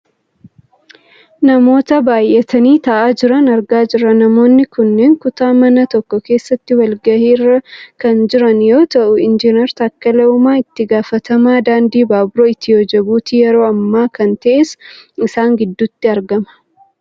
namoota baayyatanii taa'aa jiran argaa jirra . namoonni kunneen kutaa manaa tokko keessatti walgahiirra kan jiran yoo ta'u injiiner taakkalaa uumaa itti gaafatamaa daandii baabura Itiyoo-Jibuutii yeroo ammaa kan ta'es isaan gidduutti argama.